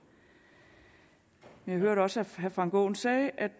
jeg hørte også at herre frank aaen sagde at